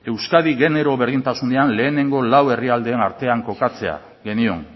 euskadi genero berdintasunean lehenengo lau herrialdeen artean kokatzea genion